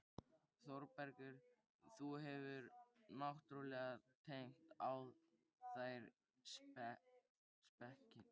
ÞÓRBERGUR: Þú hefur náttúrlega dengt á þær spekinni.